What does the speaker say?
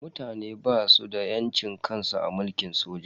Mutane basu da yancin kansu a mulkin soja.